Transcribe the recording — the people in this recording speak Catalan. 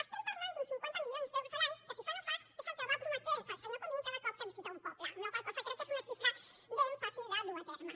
estem parlant d’uns cinquanta milions d’euros l’any que si fa no fa és el que va prometent el senyor comín cada cop que visita un poble per la qual cosa crec que és una xifra ben fàcil de dur a terme